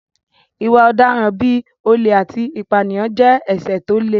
Ìwà ọ̀daràn bí olè àti ìpànìyàn jẹ́ ẹ̀ṣẹ̀ tó le